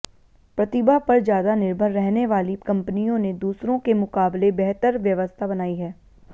प्रतिभा पर ज्यादा निर्भर रहने वाली कंपनियों ने दूसरों के मुकाबले बेहतर व्यवस्था बनाई है